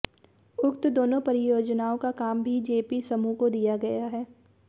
उक्त दोनों परियोजनाओं का काम भी जेपी समूह को दिया गया है